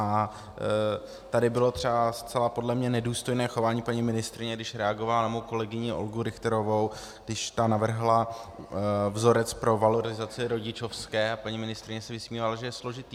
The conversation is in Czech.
A tady bylo třeba zcela podle mě nedůstojné chování paní ministryně, když reagovala na mou kolegyni Olgu Richterovou, když ta navrhla vzorec pro valorizaci rodičovské a paní ministryně se vysmívala, že je složitý.